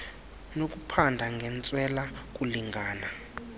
nokuphanda ngentswela kulingana